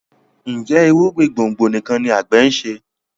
Njé irúgbìn gbòngbò nìkàn ní agbe nṣe?